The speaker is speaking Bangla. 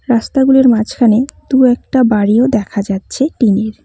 রাস্তাগুলোর মাঝখানে দু-একটা বাড়িও দেখা যাচ্ছে টিন -এর।